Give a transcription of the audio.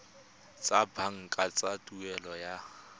tsa banka tsa tuelo ya